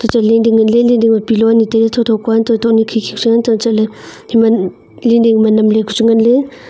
cho leeding ma pillow anye tai ley tho tho kua angtoh ley nye khi khi pa ang toh ley leeding ma nam ley chu ngan ley.